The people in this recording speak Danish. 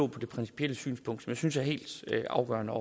på det principielle synspunkt som jeg synes er helt afgørende